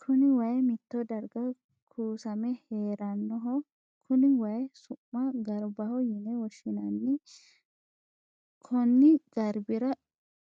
Kunni wayi mitto darga kuussame heeranoho. Kunni wayi su'ma garbaho yinne woshinnanni. Konni garbira